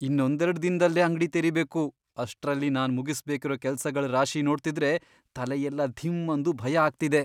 ಇನ್ನೊಂದೆರ್ಡ್ ದಿನ್ದಲ್ಲೇ ಅಂಗ್ಡಿ ತೆರಿಬೇಕು, ಅಷ್ಟ್ರಲ್ಲಿ ನಾನ್ ಮುಗಿಸ್ಬೇಕಿರೋ ಕೆಲ್ಸಗಳ್ ರಾಶಿ ನೋಡ್ತಿದ್ರೆ ತಲೆಯೆಲ್ಲ ಧಿಮ್ ಅಂದು ಭಯ ಆಗ್ತಿದೆ.